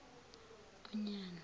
onyana